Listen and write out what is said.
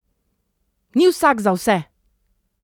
Ni vsak za vse!